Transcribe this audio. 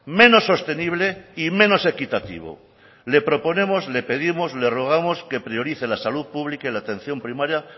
menos sostenible y menos equitativo le proponemos le pedimos le rogamos que priorice la salud pública y la atención primaria